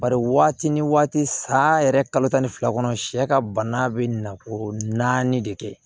Bari waati ni waati sa yɛrɛ kalo tan ni fila kɔnɔ sɛ ka bana bɛ na o naani de kɛ